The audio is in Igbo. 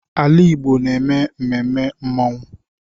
Ala Igbo na-eme mmemme mmanwụ.